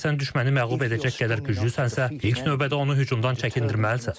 Əgər sən düşməni məğlub edəcək qədər güclüsənsə, ilk növbədə onu hücumdan çəkindirməlisən.